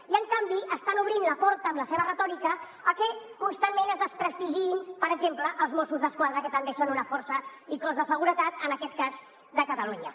i en canvi estan obrint la porta amb la seva retòrica a que constantment es desprestigiïn per exemple els mossos d’esquadra que també són una força i cos de seguretat en aquest cas de catalunya